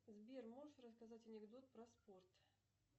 сбер можешь рассказать анекдот про спорт